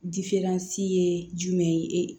ye jumɛn ye